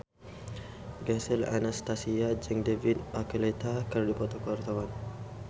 Gisel Anastasia jeung David Archuletta keur dipoto ku wartawan